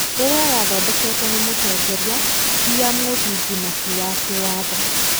ĩrĩa yathondeketwo nĩ mũtongoria, ti ya mũthingi na ti ya kĩwatho.